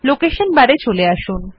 location bar এ চলে আসুন